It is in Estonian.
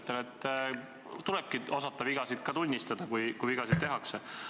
Ütlen, et tulebki osata vigasid tunnistada, kui vigasid tehakse.